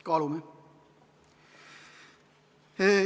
Kaalume.